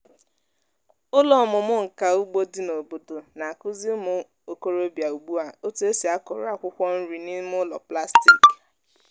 ụlọ ọmụmụ nka ugbo dị n'obodo na-akụzi ụmụ okorobịa ugbu a otu esi akụrụ akwụkwọ nri n'ime ụlọ plastik.